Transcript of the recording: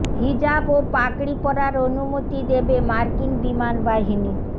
হিজাব ও পাগড়ি পরার অনুমতি দেবে মার্কিন বিমান বাহিনী